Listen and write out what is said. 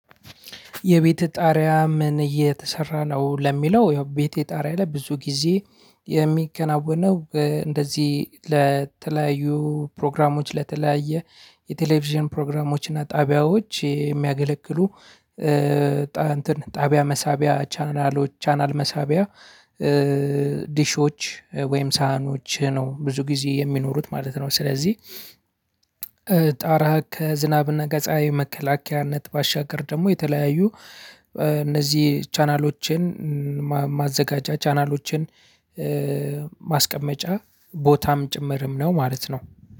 የቤተ ጣሪያ ምን እየተሰራ ነው? ለሚለው ያው ቤተ ጣሪያ ላይ ብዙ ጊዜ የሚከናወነው እንደዚህ ለተለያዩ ፕሮግራሞች ለተለያየ የቴሌቪዥን ፕሮግራሞች እና ጣቢያዎች የሚያገለግሉ እንትን ጣቢያ መሳቢያ ቻናሎች ቻናል መሳቢያ ዲሾች ወይም ሳህኖች ነው ብዙ ጊዜ የሚኖሩት ማለት ነው። ስለዚህ ጣራ ከዝናብና ከፀሀይ መከላከያነት ባሻገር ደግሞ የተለያዩ እነዚህ ቻናሎችን ማዘጋጃ ቻናሎችን ማስቀመጫ ቦታም ጭምርም ነው ማለት ነው።